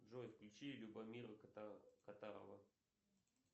джой включи любомира катарова